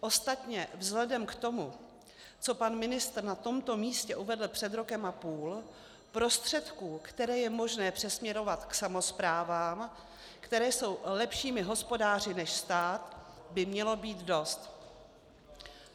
Ostatně vzhledem k tomu, co pan ministr na tomto místě uvedl před rokem a půl, prostředků, které je možné přesměrovat k samosprávám, které jsou lepšími hospodáři než stát, by mělo být dost.